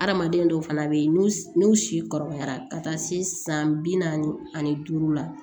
Hadamaden dɔw fana bɛ yen n'u si kɔrɔbayara ka taa se san bi naani ani duuru la